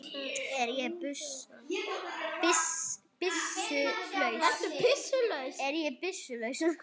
Ég er byssu laus.